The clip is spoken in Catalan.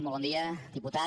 molt bon dia diputat